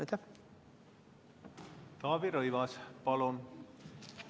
Taavi Rõivas, palun!